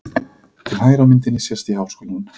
Til hægri á myndinni sést í Háskólann.